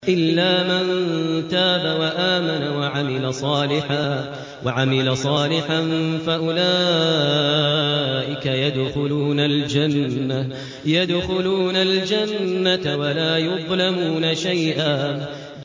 إِلَّا مَن تَابَ وَآمَنَ وَعَمِلَ صَالِحًا فَأُولَٰئِكَ يَدْخُلُونَ الْجَنَّةَ وَلَا يُظْلَمُونَ شَيْئًا